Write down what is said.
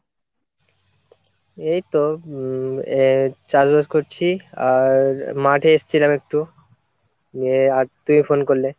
এই তো উম আহ চাষবাস করছি আর মাঠে এসছিলাম একটু দিয়ে আর তুমি phone করলে।